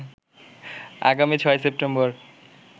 আগামী ৬ সেপ্টেম্বর